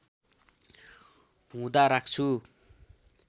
हुँदा राख्छु